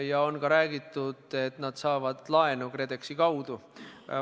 Ja on ka räägitud, et nad saavad laenu KredExi kaudu.